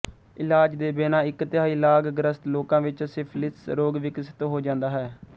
ਇਲਾਜ ਦੇ ਬਿਨਾਂ ਇੱਕ ਤਿਹਾਈ ਲਾਗ ਗ੍ਰਸਤ ਲੋਕਾਂ ਵਿੱਚ ਸਿਫਿਲਿਸ ਰੋਗ ਵਿਕਸਿਤ ਹੋ ਜਾਂਦਾ ਹੈ